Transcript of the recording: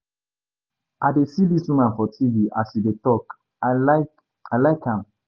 I dey see dis woman for TV as she dey talk. I like I like am.